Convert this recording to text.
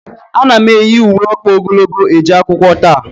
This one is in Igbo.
A na m eyi ùwé ọkpa ogologo eje akwụkwọ tata